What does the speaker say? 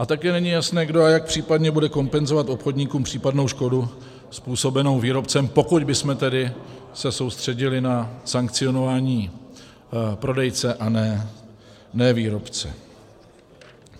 A také není jasné, kdo a jak případně bude kompenzovat obchodníkům případnou škodu způsobenou výrobcem, pokud bychom tedy se soustředili na sankcionování prodejce, a ne výrobce.